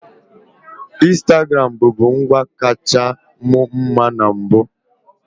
Instagram bụbu ngwa kacha mu mma na mbụ.